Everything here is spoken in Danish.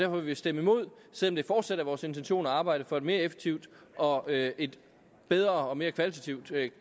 vil vi stemme imod selv om det fortsat er vores intention at arbejde for et mere effektivt og et bedre og mere kvalitativt